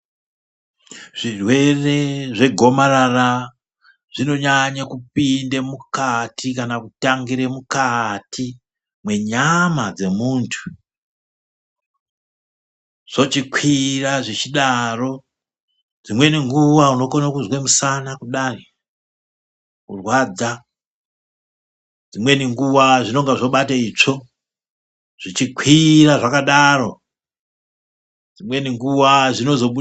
Zvirwere zvegomarara zvinonyanye kupinda mukati kana kutangire mukati mwenyama dzemuntu. Zvochikwira zvichidaro dzimweni nguva unokona kuzwa musana kudai kurwadza. Dzimweni nguva zvinonga zvobate itsvo zvichikwira zvakadaro dzimweni nguva zvinozobu.